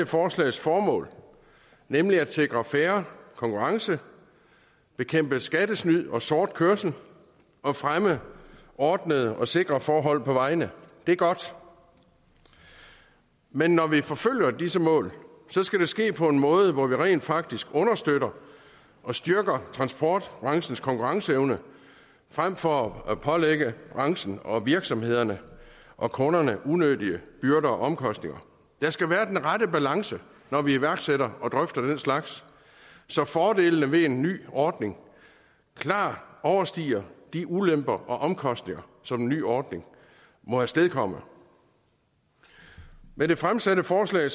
forslags formål nemlig at sikre fair konkurrence bekæmpe skattesnyd og sort kørsel og fremme ordnede og sikre forhold på vejene det er godt men når vi forfølger disse mål skal det ske på en måde hvor vi rent faktisk understøtter og styrker transportbranchens konkurrenceevne frem for at pålægge branchen og virksomhederne og kunderne unødige byrder og omkostninger der skal være den rette balance når vi iværksætter og drøfter den slags så fordelene ved en ny ordning klart overstiger de ulemper og omkostninger som en ny ordning må afstedkomme med det fremsatte forslag